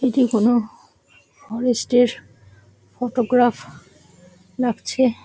এটি কোনো ফরেস্ট -এর ফোটোগ্রাফ লাগছে ।